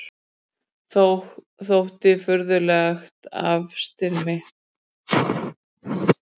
Þótti furðulegt afstyrmi.